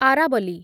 ଆରାବଲି